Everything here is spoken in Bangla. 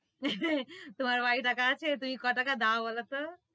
তোমার বাড়ি টাকা আছে? তুমি ক টাকা দোও বোলো তো?